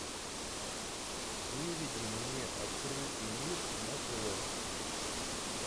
выведи мне открытый мир на тв